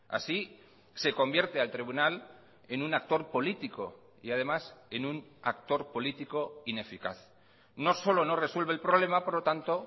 así se convierte al tribunal en un actor político y además en un actor político ineficaz no solo no resuelve el problema por lo tanto